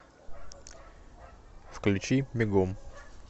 включи бегом